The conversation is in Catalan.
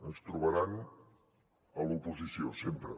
ens trobaran a l’oposició sempre